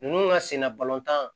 Ninnu ŋa senna balontan